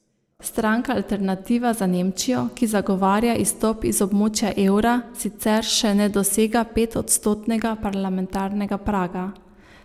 Stranka Alternativa za Nemčijo, ki zagovarja izstop iz območja evra, sicer še ne dosega petodstotnega parlamentarnega praga.